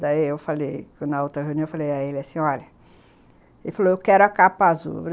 Daí eu falei, na outra reunião, eu falei a ele assim, olha... Ele falou, eu quero a capa azul.